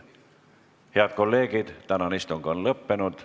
Head kolleegid, tänane istung on lõppenud.